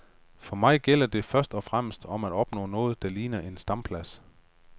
For mig gælder det først og fremmest om at opnå noget der ligner en stamplads.